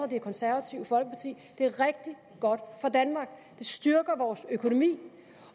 det konservative folkeparti det er rigtig godt for danmark det styrker vores økonomi